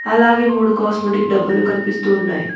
అలాగే మూడు కాస్మొటిక్ డబ్బాలు కనిపిస్తున్నాయి.